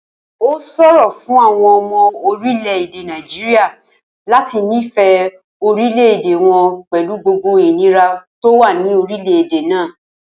Ó s̩òro fún àwo̩n o̩mo̩ orílè̩-èdè Nàìjíríà láti nífè̩é̩ orílè̩-èdè wo̩n pè̩lú gbogbo ìnira tó wà ní orílè̩-èdè náà